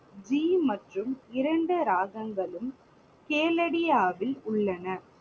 G மற்றும் இரண்டு ராகங்களும் உள்ளன.